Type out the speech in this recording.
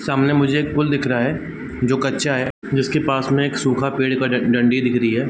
सामने मुझे एक पुल दिख रहा है जो कच्चा है जिसके पास में एक सूखा पेड़ का डं-डंडी दिख रही है।